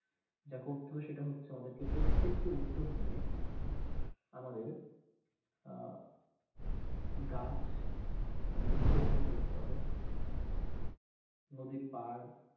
যা করতে হবে সেটা হচ্ছে আমাদেরকে প্রত্যেককে উদ্যোগ নিয়ে আমাদের আঁ গাছ মানে বৃক্ষ রোপন করতে হবে নদীর পাড়